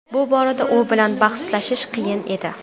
Bu borada u bilan bahslashish qiyin edi.